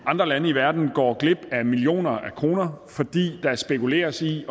andre lande i verden går glip af millioner af kroner fordi der spekuleres i